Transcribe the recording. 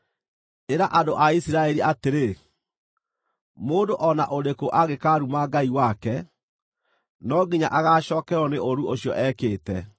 Ĩra andũ a Isiraeli atĩrĩ, ‘Mũndũ o na ũrĩkũ angĩkaaruma Ngai wake, no nginya agaacookererwo nĩ ũũru ũcio ekĩte: